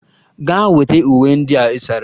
Gaa weta uwe ndị ị sara!